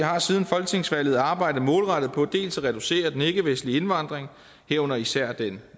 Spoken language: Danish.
har siden folketingsvalget arbejdet målrettet på dels at reducere den ikkevestlige indvandring herunder især den